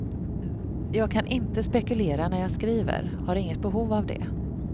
Jag kan inte spekulera när jag skriver, har inget behov av det.